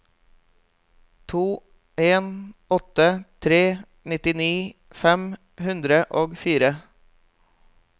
to en åtte tre nitti fem hundre og fire